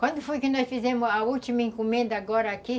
Quando foi que nós fizemos a última encomenda agora aqui?